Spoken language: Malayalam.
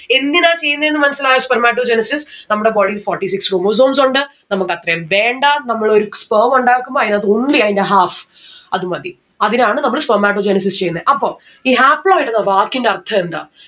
എന്തിനാ ചെയ്യുന്നെന്ന് മനസ്സിലായോ Spermatogenesis നമ്മുടെ body ൽ forty six chromosomes ഉണ്ട് നമ്മുക്ക് അത്രയും വേണ്ട നമ്മളൊരു sperm ഉണ്ടാക്കുമ്പൊ അയിനകത്ത് only അയിന്റ half അത് മതി. അതിനാണ് നമ്മൾ Spermatogenesis ചെയ്യുന്നെ. അപ്പൊ ഈ haploid എന്ന വാക്കിന്റെ അർഥം എന്താ